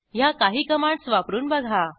ह्या काही कमांडस वापरून बघा